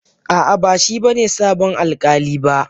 A'a, ba shi ne sabon alƙali ba.